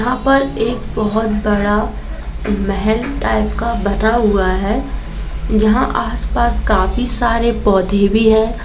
यहाँ पर एक बहुत बड़ा महल टाइप का बना हुआ है जहाँ आस- पास काफी सारे पौधे भी है।